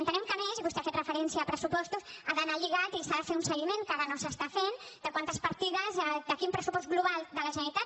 entenem que a més i vostè ha fet referència a pressupostos ha d’anar lligat i s’ha de fer un seguiment que ara no s’està fent de quantes partides de quin pressupost global de la generalitat